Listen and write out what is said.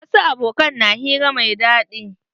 Wasu aboƙan na hira mai daɗi.